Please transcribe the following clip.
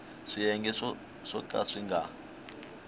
swiyenge swo ka swi nga